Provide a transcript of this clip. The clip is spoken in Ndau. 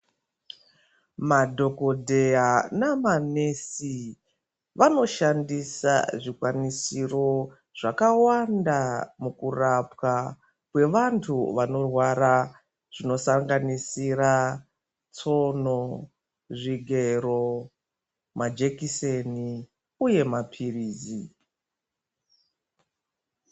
Madhokodheya namanesi, vanoshandisa zvikwanisiro zvakawanda mukurapwa kwevantu vanorwara, zvinosanganisira tsono, zvigero, majekiseni uye maphirizi.